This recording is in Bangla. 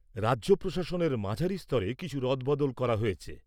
রাজ্য প্রশাসনের মাঝারি স্তরে কিছু রদ বদল করা হয়েছে।